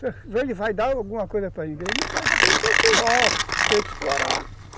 Se ele vai dar alguma coisa para igreja, ele vai querer ter o suor, querer explorar.